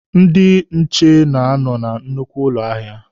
Ndị nche na-anọ na nnukwu ụlọ ahịa.